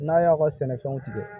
N'a y'aw ka sɛnɛfɛnw tigɛ